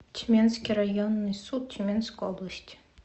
тюменский районный суд тюменской области